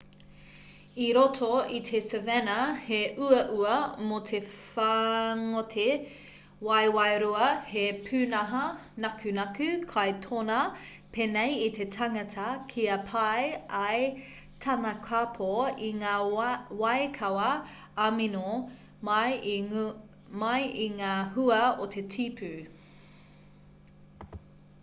i roto i te savanna he uaua mō te whāngote waewae-rua he pūnaha nakunaku kai tōnā pēnei i te tangata kia pai ai tana kapo i ngā waikawa amino mai i ngā hua o te tipu